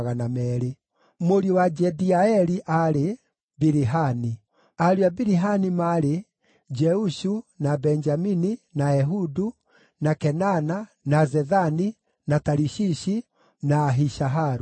Mũriũ wa Jediaeli aarĩ: Bilihani. Ariũ a Bilihani maarĩ: Jeushu, na Benjamini, na Ehudu, na Kenaana, na Zethani, na Tarishishi, na Ahishaharu.